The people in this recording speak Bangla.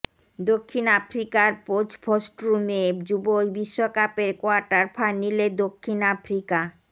দক্ষিণ আফ্রিকার পোচফস্ট্রুমে যুব বিশ্বকাপের কোয়ার্টার ফাইনালে দক্ষিণ আফ্রিকার